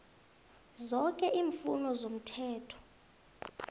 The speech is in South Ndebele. zoke iimfuno zomthetho